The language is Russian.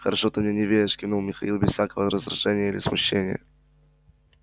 хорошо ты мне не веришь кивнул михаил без всякого раздражения или смущения